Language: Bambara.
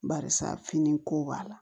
Barisa fini ko b'a la